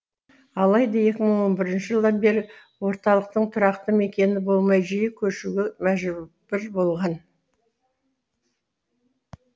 алайда екі мың он бірінші жылдан бері орталықтың тұрақты мекені болмай жиі көшуге мәжбүр болған